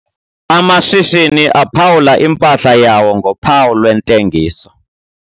Amashishini aphawula impahla yawo ngophawu lwentengiso.